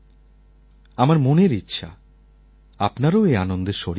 আমার মনের ইচ্ছা আপনারাও এই আনন্দের শরিক হন